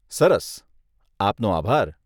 સરસ. આપનો આભાર.